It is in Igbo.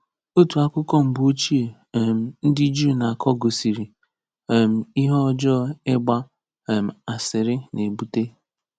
Otu akụkọ mgbe ochie um ndị Juu na-akọ gosiri um ihe ọjọọ ịgba um asịrị na-ebute.